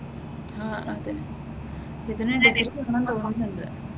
ആഹ് അതെ ഇതിന് ഡിഗ്രിവേണമെന്ന് തോന്നുന്നുണ്ട്.